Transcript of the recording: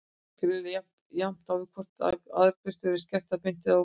Greinin á jafnt við hvort sem arðgreiðslur eru skertar beint eða óbeint.